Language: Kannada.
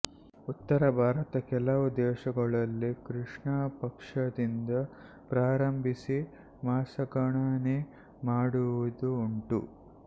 ಉತ್ತರ ಭಾರತದ ಕೆಲವು ದೇಶಗಳಲ್ಲಿ ಕೃಷ್ಣಪಕ್ಷದಿಂದ ಪ್ರಾರಂಭಿಸಿ ಮಾಸಗಣನೆ ಮಾಡುವುದೂ ಉಂಟು